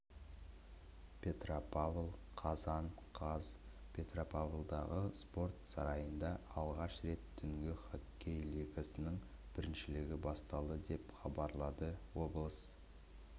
петропавл қазан қаз петропавлдағы спорт сарайында алғаш рет түнгі хоккей лигасының біріншілігі басталды деп хабарлады облыс